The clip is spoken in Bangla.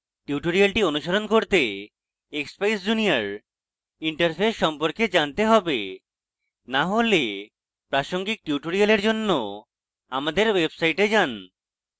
tutorial অনুসরণ করতে expeyes junior interface সম্পর্কে জানতে হবে to হলে প্রাসঙ্গিক tutorial জন্য আমাদের ওয়েবসাইটটে যান